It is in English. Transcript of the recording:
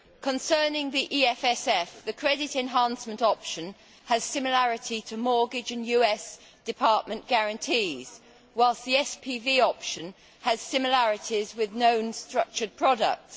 Concerning the EFSF, the credit enhancement option has similarity to mortgage and US department guarantees, whilst the SPV option has similarities with known structured products.